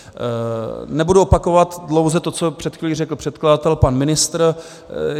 Nebudu opakovat dlouze to, co před chvílí řekl předkladatel, pan ministr.